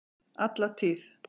Alla tíð!